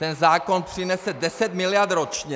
Ten zákon přinese deset miliard ročně.